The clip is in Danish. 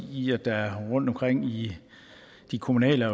i at der rundtomkring i de kommunale